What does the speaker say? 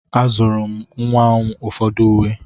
Azụụrụ m nwa m ụfọdụ uwe.